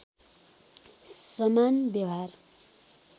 समान व्यवहार